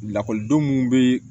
Lakɔlidenw bɛ